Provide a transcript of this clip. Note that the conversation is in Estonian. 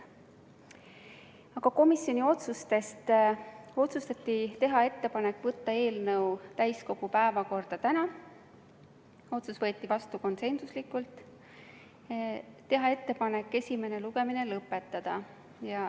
Aga komisjoni otsustest: otsustati teha ettepanek võtta eelnõu täiskogu päevakorda tänaseks – otsus võeti vastu konsensusega – ja teha ettepanek esimene lugemine lõpetada.